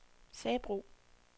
Sabro